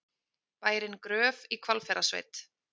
Bærinn Gröf í Hvalfjarðarsveit.